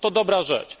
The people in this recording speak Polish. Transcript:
To dobra rzecz.